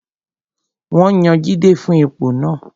Wọ́n yan Jide fún ipò náà